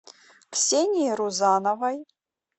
ксении рузановой